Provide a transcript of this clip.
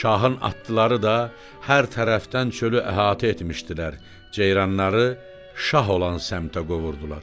Şahın atlıları da hər tərəfdən çölü əhatə etmişdilər, ceyranları şah olan səmtə qovurdular.